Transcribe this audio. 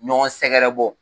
Ɲɔgɔn sɛgɛrɛ bɔ